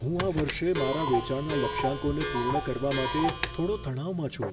હું આ વર્ષે મારા વેચાણના લક્ષ્યાંકોને પૂર્ણ કરવા માટે થોડો તણાવમાં છું.